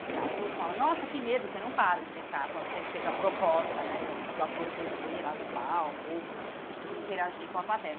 No teatro, o outro fala, nossa, que medo, você não para o espetáculo, a não ser que seja a proposta né do ator descer lá do palco ou interagir com a plateia.